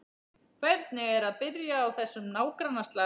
Hvernig er að byrja á þessum nágrannaslag?